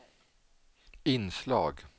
inslag